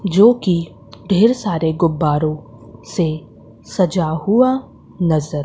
जो की ढेर सारे गुब्बारों से सजा हुआ नजर--